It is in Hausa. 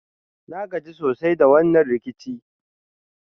Na gaji sosai da wannan rikici.